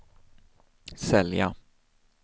sälja